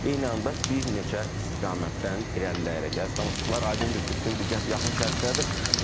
Eyni anda bir neçə istiqamətdən irəliləyərək, əziz tamaşaçılar, aydındır ki, bütün diqqət yaxın şərqdədir.